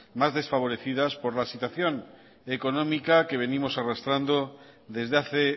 más desfavorecidas por la situación económica que venimos arrastrando desde hace